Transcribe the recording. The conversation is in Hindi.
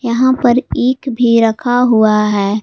यहां पर ईख भी रखा हुआ है।